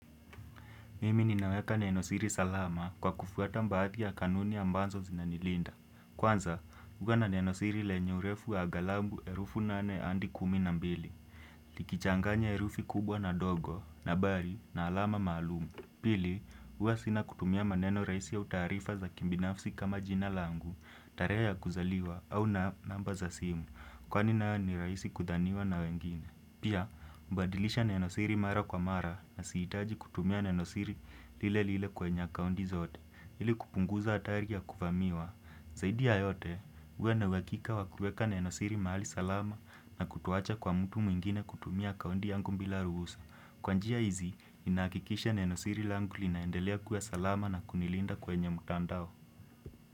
Mimi ninaweka nenosiri salama kwa kufuata baadhi ya kanuni ambazo zinanilinda. Kwanza, kuwa na nenosiri lenye urefu wa aghalabu herufi nane adi kumi na mbili. Likichanganya herufi kubwa na ndogo, nambari, na alama maalum. Pili, huwa sina kutumia maneno rahisi au taarifa za kibinafsi kama jina langu, tarehe ya kuzaliwa, au namba za simu. Kwani nayo ni rahisi kudhaniwa na wengine. Pia, hubadilisha nenosiri mara kwa mara na sihitaji kutumia nenosiri lile lile kwenye akaunti zote ili kupunguza hatari ya kuvamiwa. Zaidi ya yote, huwa na uhakika wa kuweka nenosiri mahali salama na kutoacha kwa mtu mwingine kutumia akaunti yangu bila ruhusa. Kwa njia hizi, ninahakikisha nenosiri langu linaendelea kuwa salama na kunilinda kwenye mtandao.